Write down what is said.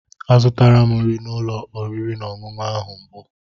Azụtala m nri n'ụlọ oriri na ọṅụṅụ ahụ mbụ.